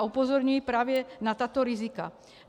A upozorňuji právě na tato rizika.